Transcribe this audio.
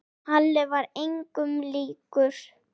Halli var engum líkur.